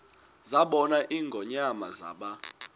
zabona ingonyama zaba